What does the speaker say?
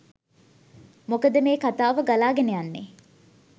මොකද මේ කතාව ගලාගෙන යන්නේ